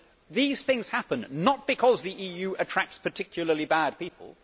These things happen not because the EU attracts particularly bad people.